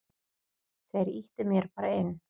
Þeir ýttu mér bara inn.